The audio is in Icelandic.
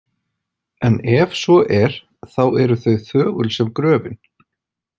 En ef svo er, þá eru þau þögul sem gröfin.